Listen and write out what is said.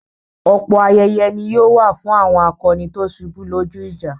Ọ̀pọ̀ ayẹyẹ ni yóò wà fún àwọn akọni tó ṣubú lójú ìjà.